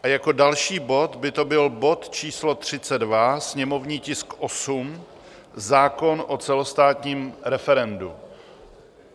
A jako další bod by to byl bod číslo 32, sněmovní tisk 8, zákon o celostátním referendu.